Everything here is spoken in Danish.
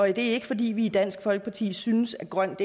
er ikke fordi vi i dansk folkeparti synes at grønt